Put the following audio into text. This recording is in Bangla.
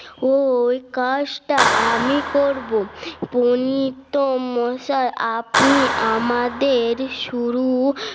ও ওই কাজটা আমি করব ফোনিতো মশাই আপনি আমাদের শুরু